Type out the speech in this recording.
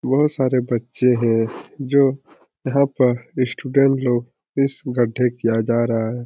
बहुत सारे बच्चे हैं जो यहाँ पर स्टूडेंट लोग इस गढ्ढे किया जा रहा है।